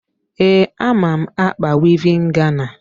Ee, ama m ákpà wivin Gana.